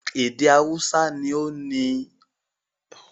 Èdè haúsá ni ó ní àwọn olùso púpọ̀ jù ní orílẹ̀-èdè Nàìjíríà.